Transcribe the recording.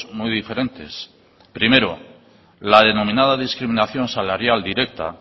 muy diferentes primero la denominada discriminación salarial directa